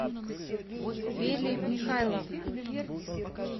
велли михайловна